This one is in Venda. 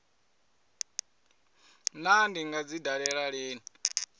naa ndi nga dzi dalela lini